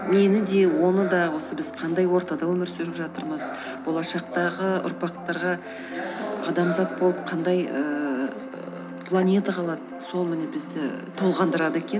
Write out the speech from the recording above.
мені де оны да осы біз қандай ортада өмір сүріп жатырмыз болашақтағы ұрпақтарға адамзат болып қандай ііі планета калады сол міне бізді толғындырады екен